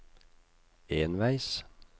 enveis